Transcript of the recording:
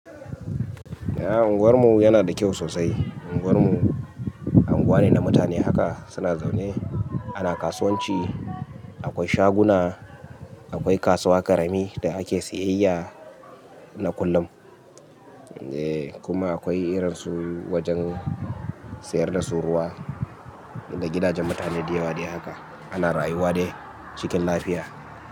Eh unguwar mu yana da kyau sosai. Unguwar mu unguwa ne na mutane haka suna zaune. Ana kasuwanci, akwai shaguna, akwai kasuwa karami da ake siyayya na kullum. Eh kuma akwai irin su wajen sayar da suruwa da gidajen mutane da yawa dai haka. Ana rayuwa dai cikin lafiya.